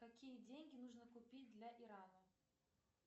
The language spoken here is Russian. какие деньги нужно купить для ирана